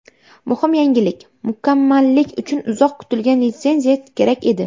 Muhim yangilik Mukammallik uchun uzoq kutilgan litsenziya kerak edi.